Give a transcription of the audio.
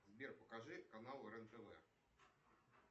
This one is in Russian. сбер покажи канал рен тв